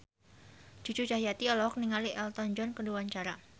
Cucu Cahyati olohok ningali Elton John keur diwawancara